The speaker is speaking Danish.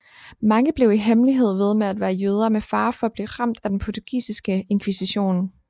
Mange blev i hemmelighed ved med at være jøder med fare for at blive ramt af den portugisiske inkvisition